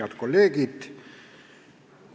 Head kolleegid!